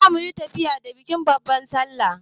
Za muyi tafiya da bikin babban sallah.